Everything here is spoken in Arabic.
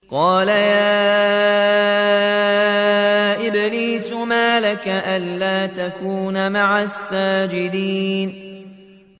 قَالَ يَا إِبْلِيسُ مَا لَكَ أَلَّا تَكُونَ مَعَ السَّاجِدِينَ